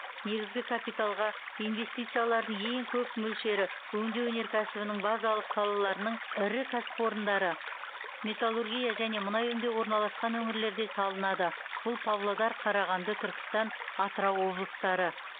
негізгі капиталға инвестициялардың ең көп мөлшері өңдеу өнеркәсібінің базалық салаларының ірі кәсіпорындары металлургия және мұнай өңдеу орналасқан өңірлерде салынады бұл павлодар қарағанды түркістан атырау облыстары